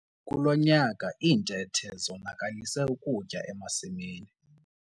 Kulo nyaka iintethe zonakalisa ukutya emasimini.